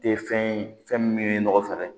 Tɛ fɛn ye fɛn min ye nɔgɔ fɛɛrɛ ye